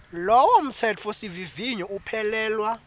lowo mtsetfosivivinyo uphelelwa